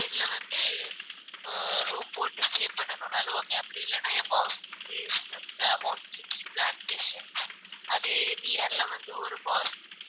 இதுல வந்து ஆஹ் room போட்டு stay பண்ணனும்னாலும் okay அப்படி இல்லன்னா tea plantations அது near ல வந்து ஒரு